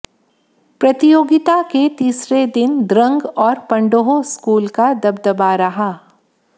प्रतियोगिता के तीसरे दिन द्रंग और पंडोह स्कूल का दबदबा रहा